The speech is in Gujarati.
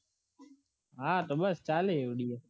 હા તો બસ ચાલે